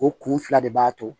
O kun fila de b'a to